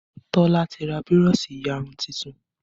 Tola ti ra burọ̀ṣì ìyarun tuntun